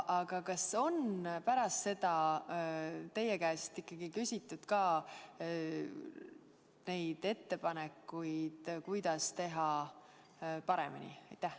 Aga kas pärast seda on teie käest küsitud ka ettepanekuid, kuidas teha paremini?